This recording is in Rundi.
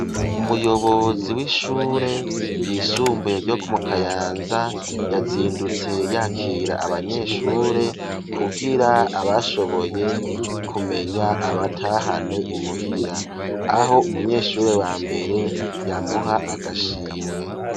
Umuyobozi w'ishure ryisumbuye ryo mu kayanza yazindutse yakira abanyeshure kugira abashoboye kumenya abatahane imuhira aho umunyeshure wa mbere yamuha agashimwe.